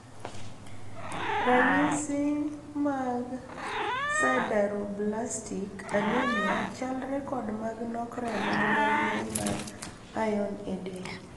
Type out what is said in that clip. Ranyisi mag sideroblastic anemia chalre kod mag nok remo gi mag ng`eny mar iron edel.